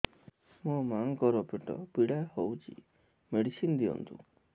ମୋ ମାଆଙ୍କର ପେଟ ପୀଡା ହଉଛି ମେଡିସିନ ଦିଅନ୍ତୁ